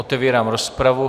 Otevírám rozpravu.